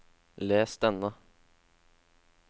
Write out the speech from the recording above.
les denne